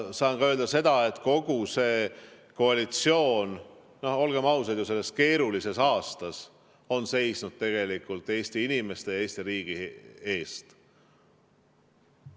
Saan öelda ka seda, et kogu see koalitsioon, olgem ausad, sellel keerulisel aastal on seisnud Eesti inimeste ja Eesti riigi eest.